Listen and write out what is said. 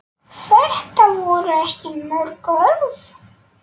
Þetta voru ekki mörg orð.